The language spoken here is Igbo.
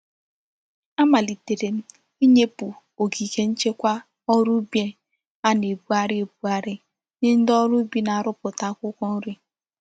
A malitere m inyepu ogige nchekwa órú ubi a na-ebughari ebughari nye ndi órú ubi na-aruputa akwukwo nri.